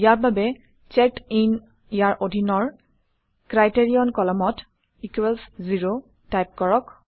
ইয়াৰ বাবে CheckedIn ইয়াৰ অধীনৰ ক্ৰাইটেৰিয়ন কলমত ইকোৱেলছ 0 টাইপ কৰক